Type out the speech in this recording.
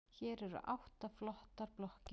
Hér eru átta flottar blokkir.